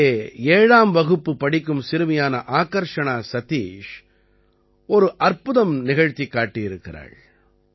இங்கே 7ஆம் வகுப்பு படிக்கும் சிறுமியான ஆகர்ஷணா சதீஷ் ஒரு அற்புதம் நிகழ்த்திக் காட்டியிருக்கிறாள்